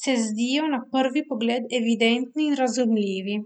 se zdijo na prvi pogled evidentni in razumljivi.